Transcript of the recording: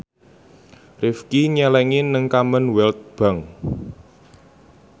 Rifqi nyelengi nang Commonwealth Bank